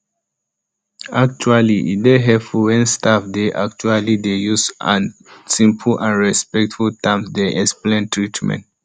actually e dey helpful wen staff dey actually dey use simple and respectful terms dey explain treatment